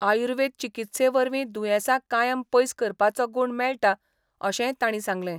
आयुर्वेद चिकित्से वरवीं दुयेंसा कायम पयस करपाचो गूण मेळटा अशेंय तांणी सांगलें.